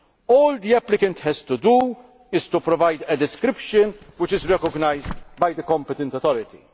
all the applicant has to do is to provide a description which is recognised by the competent authority.